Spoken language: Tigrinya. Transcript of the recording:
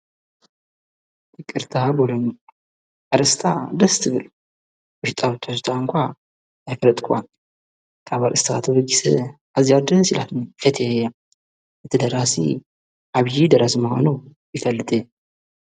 ይቅርታ ንብላ ኣረእስታ ደስ ትብል ወሽጣዊ ትሕዝቶኣ ኣይፈለጥክዋን ካብ ኣርእስታ ተበጊሰ ኣዚያ ደስ ኢላትኒ ፈትየያ እቲ ደራሲ ዓብዪ ደራሲ ምኻኑ ይፈልጥ እየ።